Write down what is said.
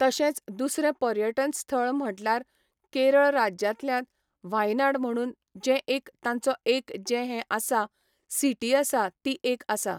तशेंच दुसरें पर्यटन स्थळ म्हटल्यार केरळ राज्यांतल्यात 'व्हायनआड' म्हणून जें एक तांचो एक जें हें आसा, सिटी आसा ती एक आसा.